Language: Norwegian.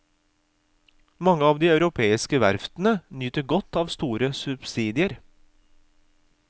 Mange av de europeiske verftene nyter godt av store subsidier.